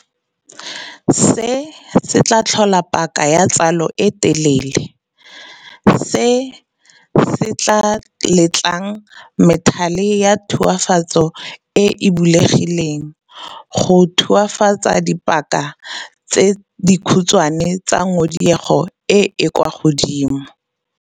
Se se tlhola paka ya tsalo e telele, se se tlaa letlang methale ya tulafatso e e bulegileng go tulafatsa ka dipaka tse di khutshwane tsa ngodiego e e kwa godimo, sekao ngodiego ya bongola, themphereitšha, jj.